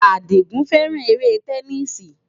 Àdìgún fẹ́ràn eré tẹníìsì.